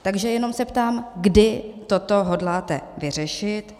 Takže se jenom ptám, kdy toto hodláte vyřešit.